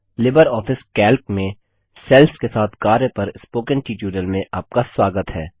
Libre office Calc में cells के साथ कार्य पर स्पोकन ट्यूटोरियल में आपका स्वागत है